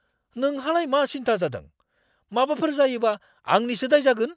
नोंहालाय मा सिनथा जादों? माबाफोर जायोबा आंनिसो दाय जागोन।